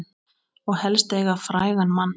Og helst eiga frægan mann.